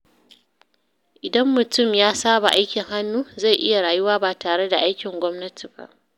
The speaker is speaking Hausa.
Idan mutum ya saba aikin hannu, zai iya rayuwa ba tare da aikin gwamnati ba.